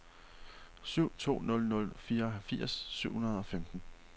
syv to nul nul fireogfirs syv hundrede og femten